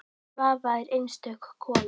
Svava er einstök kona.